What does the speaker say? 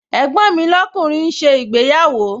Ẹ̀gbọ́n mi lọ́kùnrin ń ṣe ìgbéyàwó